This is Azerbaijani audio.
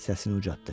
Səsini ucaltdı.